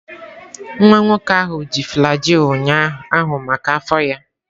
Nwa nwoke ahụ ji flagyl ụnyaahụ maka afọ ya.